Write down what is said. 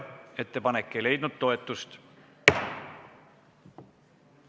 Ettepanek ei leidnud toetust.